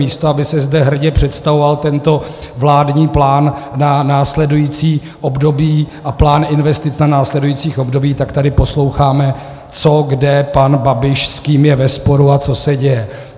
Místo aby se zde hrdě představoval tento vládní plán na následující období a plán investic na následující období, tak tady posloucháme co kde pan Babiš, s kým je ve sporu a co se děje.